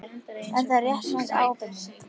Er það réttmæt ábending?